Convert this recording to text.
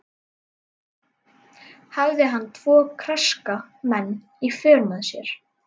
Hafði hann tvo karska menn í för með sér.